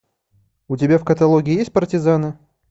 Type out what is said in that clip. у тебя в каталоге есть партизаны